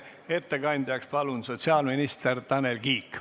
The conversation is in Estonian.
Ettekandjaks palun sotsiaalminister Tanel Kiige.